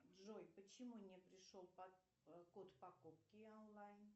джой почему не пришел код покупки онлайн